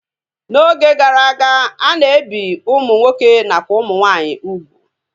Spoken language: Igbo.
N'oge gara aga, a na-ebi ụmụ nwoke nakwa ụmụ nwaanyị ugwu